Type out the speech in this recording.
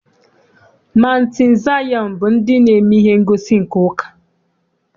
Maụntụ Zayọn bụ ndị na-eme ihe ngosi nke ụka.